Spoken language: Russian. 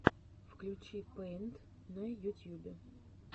включи пэйнт на ютьюбе